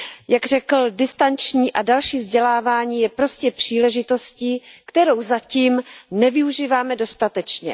Jak řekl, distanční a další vzdělávání je prostě příležitostí, kterou zatím nevyužíváme dostatečně.